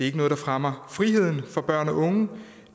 ikke noget der fremmer friheden for børn og unge